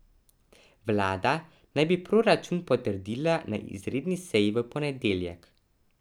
Vlada naj bi proračun potrdila na izredni seji v ponedeljek.